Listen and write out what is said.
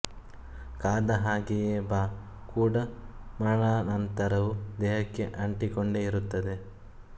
ಕಾದ ಹಾಗೆಯೇ ಬಾ ಕೂಡ ಮರಣಾನಂತರವೂ ದೇಹಕ್ಕೆ ಅಂಟಿಕೊಂಡೇ ಇರುತ್ತದೆ